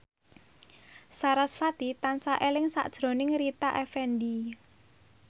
sarasvati tansah eling sakjroning Rita Effendy